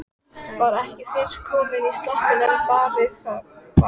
Var ekki fyrr komin í sloppinn en barið var.